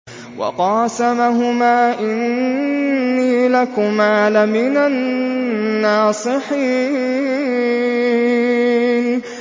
وَقَاسَمَهُمَا إِنِّي لَكُمَا لَمِنَ النَّاصِحِينَ